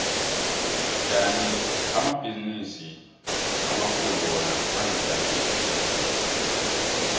kandi amabhizinisi amakhulu wona azijamele